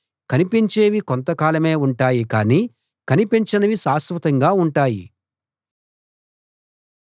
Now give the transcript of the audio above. కనిపించేవి కొంత కాలమే ఉంటాయి కానీ కనిపించనివి శాశ్వతంగా ఉంటాయి